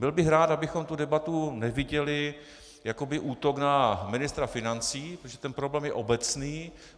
Byl bych rád, abychom tu debatu neviděli jako útok na ministra financí, protože ten problém je obecný.